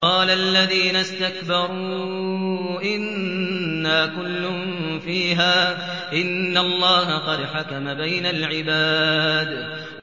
قَالَ الَّذِينَ اسْتَكْبَرُوا إِنَّا كُلٌّ فِيهَا إِنَّ اللَّهَ قَدْ حَكَمَ بَيْنَ الْعِبَادِ